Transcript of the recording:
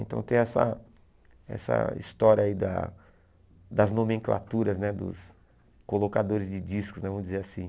Então tem essa essa história aí da das nomenclaturas, né dos colocadores de discos né, vamos dizer assim.